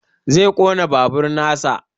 Zai ƙona babur nasa